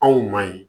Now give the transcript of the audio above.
Anw ma ye